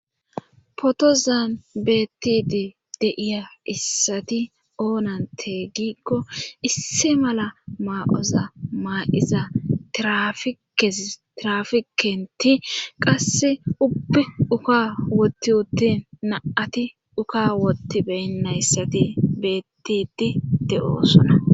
Potozan beettidi deiya issati oonan teeygikko isse mala maa7oza maa7iza trafikenti qasse uppi uka wotti uttin naati uka wotti beynnayssati beettidi de7osona